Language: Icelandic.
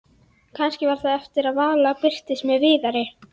Kannski var það eftir að Vala birtist með Viðari.